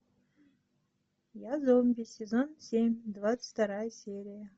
я зомби сезон семь двадцать вторая серия